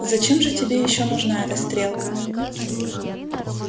зачем же тебе ещё нужна эта стрелка